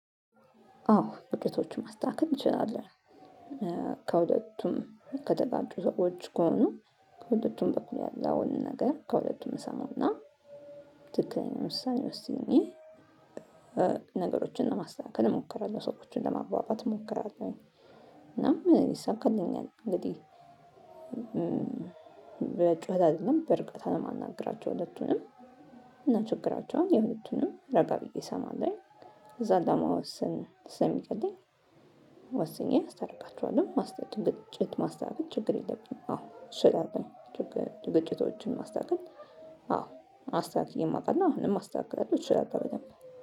አዎ ግጭቶቹን ማስተካከል ትችላለህ። ከሁለቱም ከተጋጩ ሰዎች ከሆኑ ከሁለቱም በኩል ያለ አሁን ነገር ከሁለቱም እሰማውና ትክክለኛ ውሳኔ ወስኜ። ነገሮችን ለማስተካከል እሞክራለሁ ሰዎችን ለማባባት እሞክራለሁ። እና ይሰካልኛል እንግዲህ። በጩኸት አይደለም በእርግጠኝነት አለማናግራቸው ሁለቱንም እና ችግራቸውን የሁለቱንም ረጋ ብዬ እሰማለሁኝ እዛ ለማወሰን ስለምቀለኝ። ወስኜ አስታርቃቸዋለሁ ማስተዳደር ግጭት ማስተካከል ችግር የለብኝም። አዎ እችላለሁኝ። ግጭቶችን ማስተካከል። አዎ አስተካክዬም አውቃለው እና አሁንም አስተካክላለሁ እችላለሁ በደንብ።